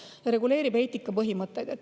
Samuti reguleerib see eetikapõhimõtteid.